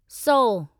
सौ